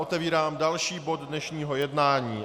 Otevírám další bod dnešního jednání.